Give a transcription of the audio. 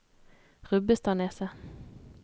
Rubbestadneset